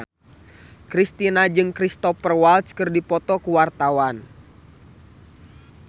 Kristina jeung Cristhoper Waltz keur dipoto ku wartawan